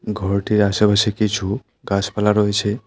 ঘরটির আশেপাশে কিছু গাছপালা রয়েছে।